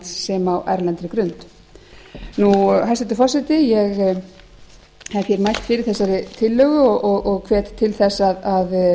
sem á erlendri grund hæstvirtur forseti ég hef hér mælt fyrir þessari tillögu og hvet til þess að